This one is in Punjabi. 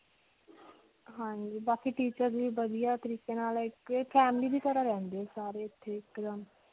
ਹਾਂਜੀ. ਬਾਕੀ teacher ਵੀ ਵਧੀਆ ਤਰੀਕੇ ਨਾਲ ਇੱਕ family ਦੀ ਤਰ੍ਹਾਂ ਰਹਿੰਦੇ ਸਾਰੇ ਇੱਥੇ.